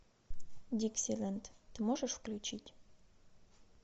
диксиленд ты можешь включить